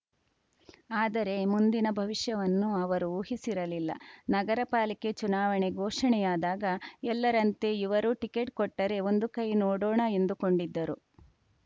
ಆದರೆ ಮುಂದಿನ ಭವಿಷ್ಯವನ್ನು ಅವರು ಊಹಿಸಿರಲಿಲ್ಲ ನಗರಪಾಲಿಕೆ ಚುನಾವಣೆ ಘೋಷಣೆಯಾದಾಗ ಎಲ್ಲರಂತೆ ಇವರೂ ಟಿಕೆಟ್‌ ಕೊಟ್ಟರೆ ಒಂದು ಕೈ ನೋಡೋಣ ಎಂದುಕೊಂಡಿದ್ದರು